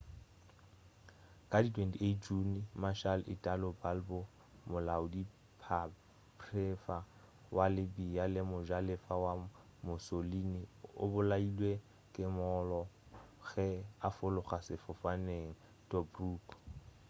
ka di 28 june marshal italo balbo molaodipharephare wa libya le mojalefa wa mussolini o bolailwe ke mollo ge a fologa sefofane tobruk